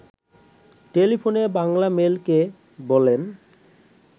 টেলিফোনে বাংলামেইলকে বলেন